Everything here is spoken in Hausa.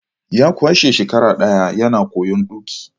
Ya kwashe shekara daya yana koyon tuki.